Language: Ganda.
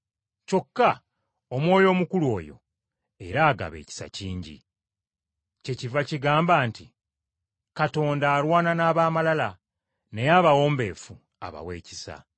Kyokka Omwoyo omukulu oyo era agaba ekisa kingi. Kyekiva kigamba nti, “Katonda alwana n’ab’amalala naye abawombeefu abawa ekisa.”